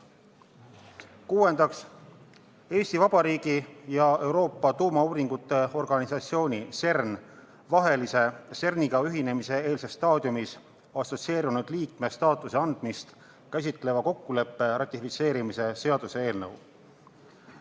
Kuuendaks, Eesti Vabariigi ja Euroopa Tuumauuringute Organisatsiooni vahelise CERN-iga ühinemise eelses staadiumis assotsieerunud liikme staatuse andmist käsitleva kokkuleppe ratifitseerimise seaduse eelnõu.